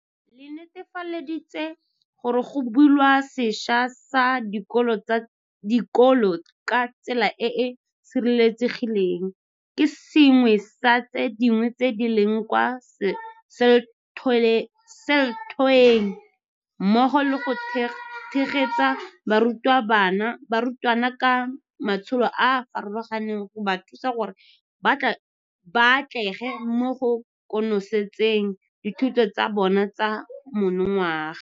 le netefaditse gore go bulwa sešwa ga dikolo ka tsela e e sireletsegileng ke sengwe sa tse dingwe tse di leng kwa selthoeng, mmogo le go tshegetsa barutwana ka matsholo a a farologaneng go ba thusa gore ba atlege mo go konosetseng dithuto tsa bona tsa monongwaga.